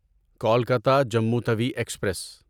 Kolkata Jammu Tawi express